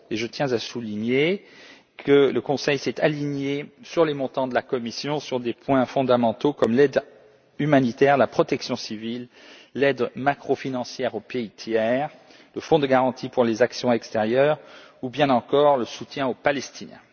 Je tiens à souligner que le Conseil s'est aligné sur les montants de la Commission dans des domaines fondamentaux comme l'aide humanitaire, la protection civile, l'aide macrofinancière aux pays tiers, le Fonds de garantie pour les actions extérieures ou bien encore le soutien aux Palestiniens.